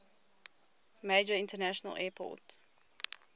major international airport